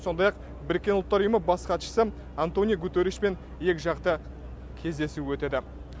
сондай ақ біріккен ұлттар ұйымы бас хатшысы антонио гутершипен екіжақты кездесу өтеді